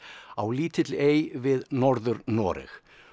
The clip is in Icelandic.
á lítilli ey við Norður Noreg